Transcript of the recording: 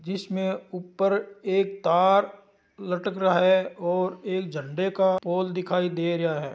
इस में ऊपर एक तार लटक रहा है और एक झंडे का पोल दिखाई दे रहा है।